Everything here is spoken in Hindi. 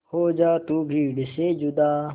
हो जा तू भीड़ से जुदा